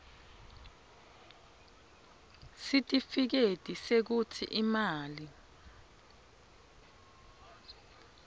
sitifiketi sekutsi imali